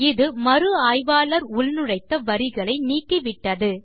இது மறு ஆய்வாளர் உள்நுழைத்த வரிகளை நீக்கிவிட்டது